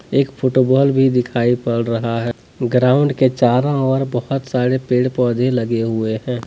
एक फुटबॉल भी दिखाई पड़ रहा है ग्राउंड के चारों ओर बहुत सारे पेड़ पौधे लगे हुए हैं।